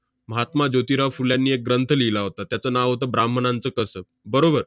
महात्मा ज्योतिराव फुल्यांनी एक ग्रंथ लिहिला होता. त्याचं नाव होतं 'ब्राह्मणांचं कसब', बरोबर.